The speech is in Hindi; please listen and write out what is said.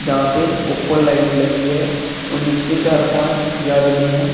यहां पे ऊपर लाइट लगी है और नीचे चार पांच आदमी है।